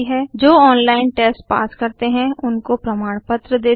जो online test pass करते हैं उनको प्रमाणपत्र देती हैं